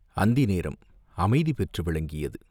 அந்தி நேரம் அமைதி பெற்று விளங்கியது.